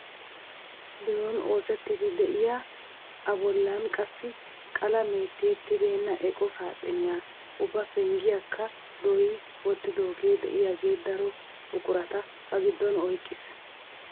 Biron oosettiidi de'iyaa a bollan qassi qalamee tiyettibena eqo saaxiniyaa ubbaa penggiyaakka dooyi wottidogee de'iyaagee daro buqurata ba giddon oyqqees!